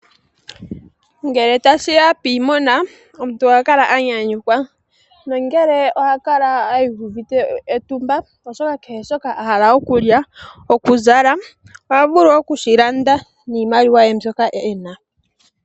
Ngele tashiya piimuna omuntu ohakala anyanyukwa nongele ohakala adhike etumba oshoka kehe shoka ahala okulya ohavulu okushilanda niimaliwa mbyoka ena.